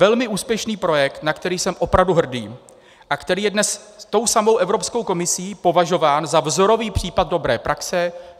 Velmi úspěšný projekt, na který jsem opravdu hrdý a který je dnes tou samou Evropskou komisí považován za vzorový případ dobré praxe.